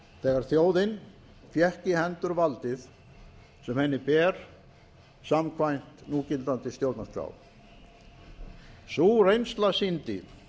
þegar þjóðin fékk í hendur valdið sem henni ber samkvæmt núgildandi stjórnarskrá sú reynsla sýndi